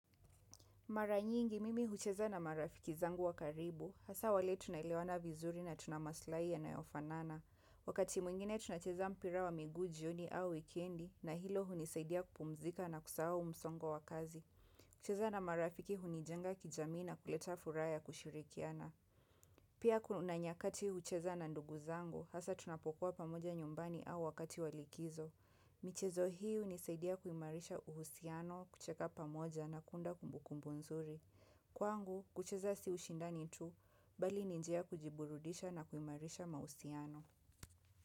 Mara nyingi mimi hucheza na marafiki zangu wa karibu, hasa wale tunaelewana vizuri na tuna maslai yanayofanana. Wakati mwingine tunacheza mpira wa miguu, jioni au wikendi, na hilo hunisaidia kupumzika na kusahau msongo wa kazi. Kucheza na marafiki hunijenga kijamii na kuleta furaha kushirikiana. Pia kuna nyakati hucheza na ndugu zangu, hasa tunapokuwa pamoja nyumbani au wakati wa likizo. Michezo hii unisaidia kuimarisha uhusiano kucheka pamoja na kuunda kumbukumbu nzuri. Kwangu, kucheza si ushindani tu, bali ni njia ya kujiburudisha na kuimarisha mahusiano.